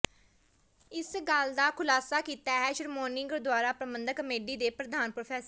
ਇਸ ਗੱਲ ਦਾ ਖੁਲਾਸਾ ਕੀਤਾ ਹੈ ਸ਼੍ਰੋਮਣੀ ਗੁਰਦੁਆਰਾ ਪ੍ਰਬੰਧਕ ਕਮੇਟੀ ਦੇ ਪ੍ਰਧਾਨ ਪ੍ਰੋ